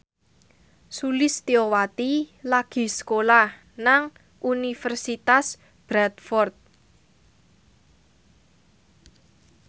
Sulistyowati lagi sekolah nang Universitas Bradford